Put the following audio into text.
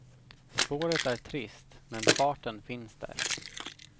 Spåret är trist men farten finns där.